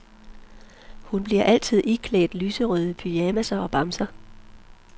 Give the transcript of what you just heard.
Hun bliver altid iklædt lyserøde pyjamasser og bamser.